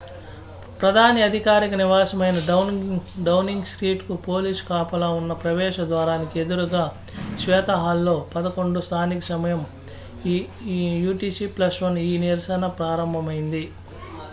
ప్రధాని అధికారిక నివాసమైన డౌనింగ్ స్ట్రీట్ కు పోలీసు కాపలా ఉన్న ప్రవేశ ద్వారానికి ఎదురుగా శ్వేత హాల్ లో 11:00 స్థానిక సమయం utc+1 ఈ నిరసన ప్రారంభమైంది